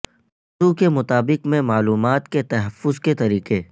موضوع کے مطابق میں معلومات کے تحفظ کے طریقے